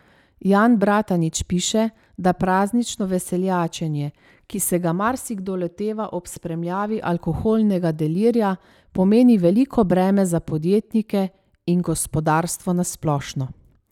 Jan Bratanič piše, da praznično veseljačenje, ki se ga marsikdo loteva ob spremljavi alkoholnega delirija, pomeni veliko breme za podjetnike in gospodarstvo na splošno.